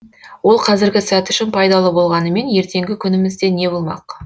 ол қазіргі сәт үшін пайдалы болғанымен ертеңгі күнімізде не болмақ